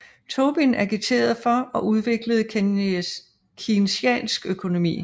Tobin agiterede for og udviklede keynesiansk økonomi